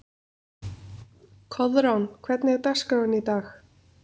Koðrán, hvernig er dagskráin í dag?